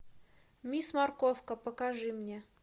мисс морковка покажи мне